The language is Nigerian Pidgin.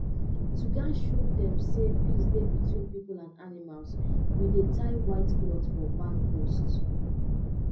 to um show um say peace dey between people and animals we dey tie white cloth for barn post